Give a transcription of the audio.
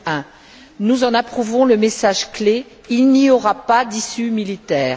2001. Nous en approuvons le message clé il n'y aura pas d'issue militaire.